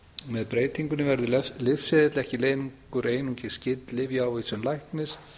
með breytingunni verður lyfseðill ekki lengur einungis gild lyfjaávísun læknis